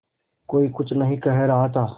कोई कुछ नहीं कह रहा था